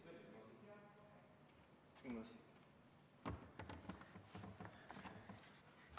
Just.